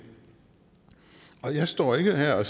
jeg står ikke her